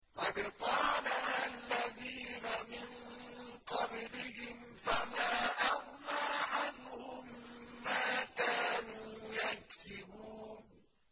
قَدْ قَالَهَا الَّذِينَ مِن قَبْلِهِمْ فَمَا أَغْنَىٰ عَنْهُم مَّا كَانُوا يَكْسِبُونَ